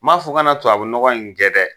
N m'a fɔ a kana tubabu nɔgɔn in kɛ dɛ.